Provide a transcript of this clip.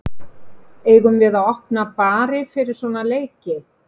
Eigum við að opna bari fyrir svona leiki?